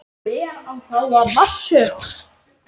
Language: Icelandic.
Hver á þá að marsera?